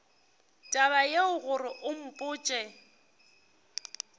taba yeo gore o mpotše